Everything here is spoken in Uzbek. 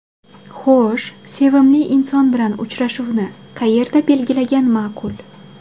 Xo‘sh, sevimli inson bilan uchrashuvni qayerda belgilagan ma’qul?